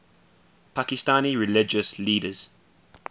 pakistani religious leaders